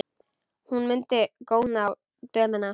Hún mundi góna á dömuna.